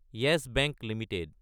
yes Bank Ltd